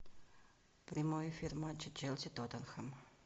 прямой эфир матча челси тоттенхэм